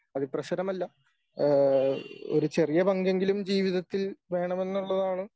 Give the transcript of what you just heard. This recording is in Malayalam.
അതിപ്രസരമല്ല ഏഹ് ഒരു ചെറിയ പങ്കെങ്കിലും ജീവിതത്തിൽ വേണമെന്നുള്ളതാണ്.